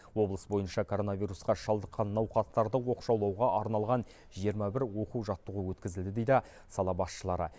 облыс бойынша коронавирусқа шалдыққан науқастарды оқшаулауға арналған жиырма бір оқу жаттығу өткізілді дейді сала басшылары